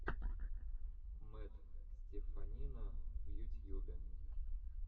мэтт стеффанина в ютьюбе